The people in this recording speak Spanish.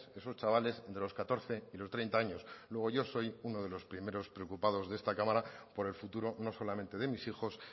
esos chavales de los catorce y los treinta años luego yo soy uno de los primeros preocupados en esta cámara por el futuro no solamente de mis hijos